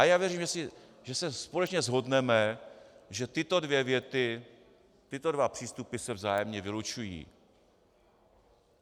A já věřím, že se společně shodneme, že tyto dvě věty, tyto dva přístupy, se vzájemně vylučují.